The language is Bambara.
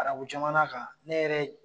Arabu jamana kan, ne yɛrɛ ye